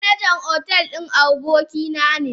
Manajan hotel din abokina ne.